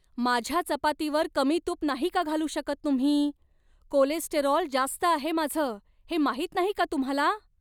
माझ्या चपातीवर कमी तूप नाही का घालू शकत तुम्ही? कोलेस्टेरॉल जास्त आहे माझं हे माहित नाही का तुम्हाला?